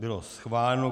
Bylo schváleno.